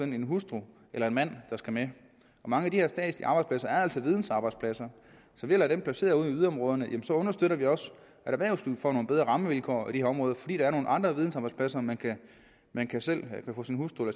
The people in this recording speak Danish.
en hustru eller en mand der skal med og mange af de her statslige arbejdspladser er altså vidensarbejdspladser så ved at placere dem ude i yderområderne understøtter vi også at erhvervslivet får nogle bedre rammevilkår i de her områder fordi der er nogle andre vidensarbejdspladser man man kan få sin hustru